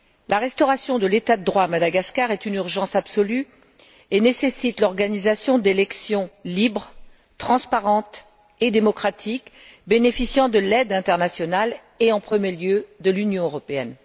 La restauration de l'état de droit à Madagascar est une urgence absolue et nécessite l'organisation d'élections libres, transparentes et démocratiques bénéficiant de l'aide internationale et, en premier lieu, de l'Union européenne.